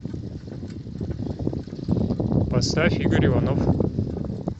поставь игорь иванов